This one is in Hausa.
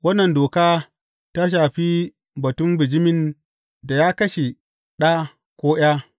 Wannan doka ta shafi batun bijimin da ya kashe ɗa ko ’ya.